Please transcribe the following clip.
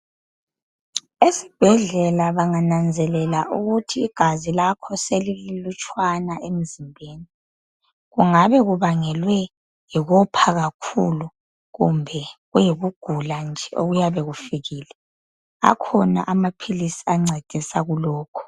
Esibhedlela bangananzelela ukuthi igazi lakho selililutshwana emzimbeni, kungabe kubangelwe yikopha kakhulu. Kumbe ukugula nje emzimbeni. Akhona amaphilisi ancedisa kulokho.